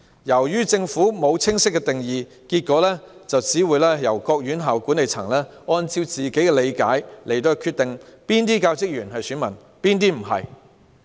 由於政府沒有清晰定義，結果各院校管理層須按各自理解決定哪些教職員是選民，哪些不是。